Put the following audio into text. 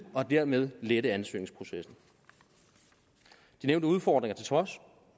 og dermed lette ansøgningsprocessen de nævnte udfordringer til trods